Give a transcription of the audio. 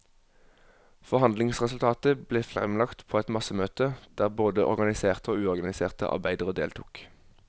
Forhandlingsresultatet ble fremlagt på et massemøte, der både organiserte og uorganiserte arbeidere deltok.